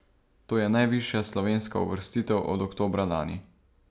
To je najvišja slovenska uvrstitev od oktobra lani.